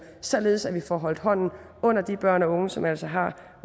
således at vi får holdt hånden under de børn og unge som altså har